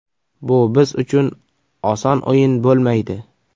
Bu biz uchun oson o‘yin bo‘lmaydi.